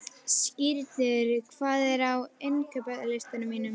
Skírnir, hvað er á innkaupalistanum mínum?